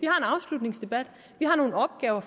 afslutningsdebat vi har nogle opgaver